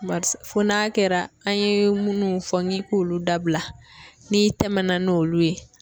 Barisa fɔ n'a kɛra an ye munnu fɔ n'i k'olu dabila n'i tɛmɛna n'olu ye.